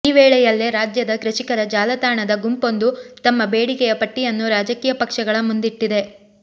ಈ ವೇಳೆಯಲ್ಲೇ ರಾಜ್ಯದ ಕೃಷಿಕರ ಜಾಲತಾಣದ ಗುಂಪೊಂದು ತಮ್ಮ ಬೇಡಿಕೆಯ ಪಟ್ಟಿಯನ್ನು ರಾಜಕೀಯ ಪಕ್ಷಗಳ ಮುಂದಿಟ್ಟಿದೆ